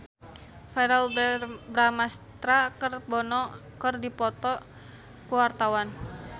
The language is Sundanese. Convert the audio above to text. Verrell Bramastra jeung Bono keur dipoto ku wartawan